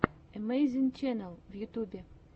эмэйзинг ченнал в ютьюбе